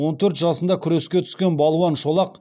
он төрт жасында күреске түскен балуан шолақ